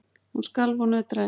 Hún skalf og nötraði.